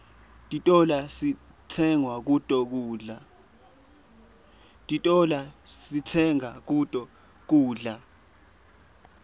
titolo sitsenga kuto kudla